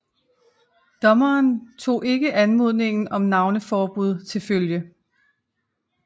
Dommeren tog ikke anmodningen om navneforbud til følge